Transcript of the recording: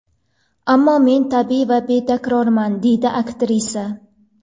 Ammo men tabiiy va betakrorman”, − deydi aktrisa.